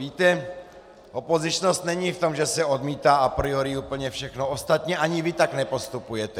Víte, opozičnost není v tom, že se odmítá a priori úplně všechno, ostatně ani vy tak nepostupujete.